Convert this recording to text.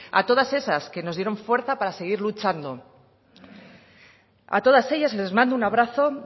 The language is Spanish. a todas esas que nos dieron fuerza para seguir luchando a todas ellas les mando un abrazo